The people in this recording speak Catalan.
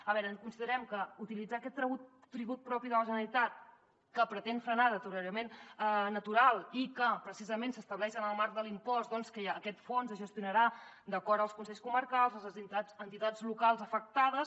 a veure considerem que utilitzar aquest tribut propi de la generalitat que pretén frenar el deteriorament natural i que precisament s’estableix en el marc de l’impost que aquest fons es gestionarà d’acord amb els consells comarcals les entitats locals afectades